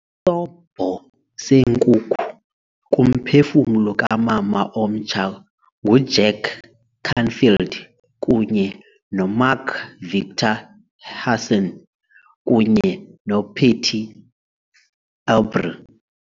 Isobho seNkuku kuMphefumlo kaMama omtsha nguJack Canfield kunye noMark Victor Hansen kunye noPatty Aubery